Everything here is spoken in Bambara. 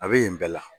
A bɛ yen bɛɛ la